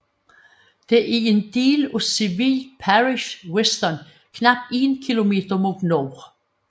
Det er en del af civil parish Wiston knap 1 km mod nord